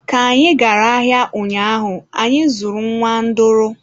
Ka anyị gara ahịa ụnyaahụ, anyị zụrụ nwa nduru.